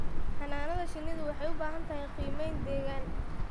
Xannaanada shinnidu waxay u baahan tahay qiimayn deegaan.